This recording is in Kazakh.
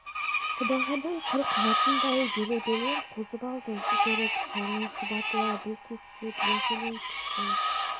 сыбағадан құр қалатындай делебелер қозып алды жүгіріп соңы шұбатыла бүлкектеп ентелей түскен